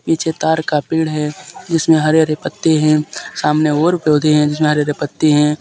पीछे तार का पेड़ है जिसमें हरे- हरे पत्ते हैं सामने और पौधे हैं जिसमें हरे- हरे पत्ते हैं।